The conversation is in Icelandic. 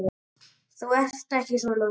Þú ert ekki svona.